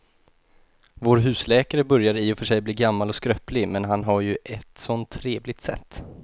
Vår husläkare börjar i och för sig bli gammal och skröplig, men han har ju ett sådant trevligt sätt!